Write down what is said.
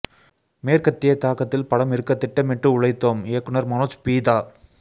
மேற்கத்திய தாக்கத்தில் படம் இருக்க திட்டமிட்டு உழைத்தோம் இயக்குனர் மனோஜ் பீதா